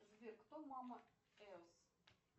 сбер кто мама эус